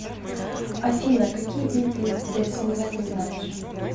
афина какие виды дснв ты знаешь